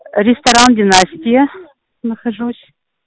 ресторан династия нахожусь